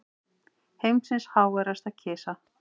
Heimsins háværasta kisa